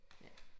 Ja